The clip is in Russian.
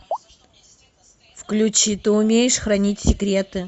включи ты умеешь хранить секреты